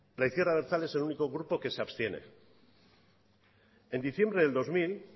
la izquierda abertzale es el único grupo que se abstiene en diciembre del dos mil